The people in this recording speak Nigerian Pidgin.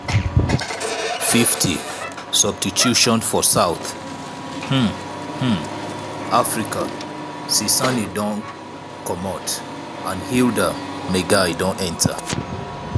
50' substituiton for south um um africa cesane don comot and hildah maigaia don enta.